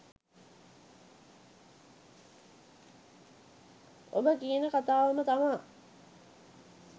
ඔබ කියන කතාවම තමා